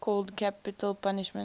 called capital punishment